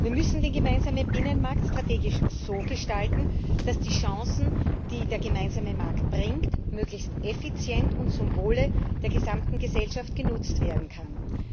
Wir müssen den gemeinsamen Binnenmarkt strategisch so gestalten, dass die Chancen, die der gemeinsame Markt bringt, möglichst effizient und zum Wohle der gesamten Gesellschaft genutzt werden können.